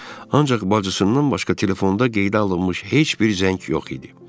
Ancaq bacısından başqa telefonda qeydə alınmış heç bir zəng yox idi.